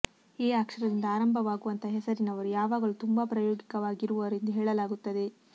A ಅಕ್ಷರಿಂದ ಆರಂಭವಾಗುವಂತಹ ಹೆಸರಿನವರು ಯಾವಾಗಲೂ ತುಂಬಾ ಪ್ರಾಯೋಗಿಕವಾಗಿರುವರು ಎಂದು ಹೇಳಲಾಗುತ್ತದೆ